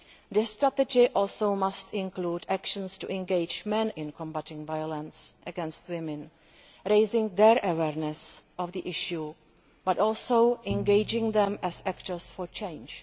This strategy must also include actions to engage men in combating violence against women, raising their awareness of the issue but also engaging them as actors for change.